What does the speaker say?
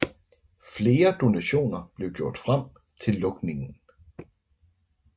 Flere donationer blev gjort frem til lukningen